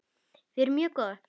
Við erum mjög góðar.